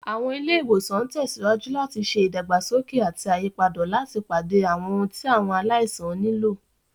Àwọn ilé ìwòsàn ń tẹ̀síwájú láti ṣe ìdàgbàsókè àti àyípadà láti pàdé àwọn ohun tí àwọn aláìsàn nílò.